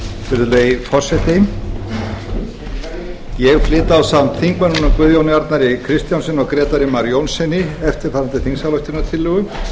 virðulegi forseti ég flyt ásamt þingmönnunum guðjóni arnari kristjánssyni og grétari mar jónssyni eftirfarandi þingsályktunartillögu